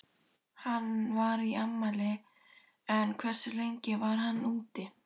Hann var í afmæli en hversu lengi var hann úti?